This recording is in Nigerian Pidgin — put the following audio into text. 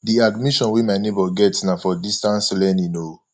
the admission wey my nebor get na for distance learning o